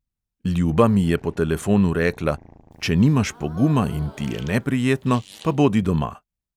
Ljuba mi je po telefonu rekla: "če nimaš poguma in ti je neprijetno, pa bodi doma."